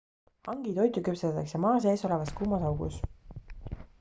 hangi toitu küpsetatakse maa sees olevas kuumas augus